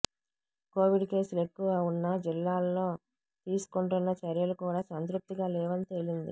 Covid కేసులు ఎక్కువ ఉన్న జిల్లాల్లో తీసుకుంటున్న చర్యలు కూడా సంతృప్తిగా లేవని తెలిపింది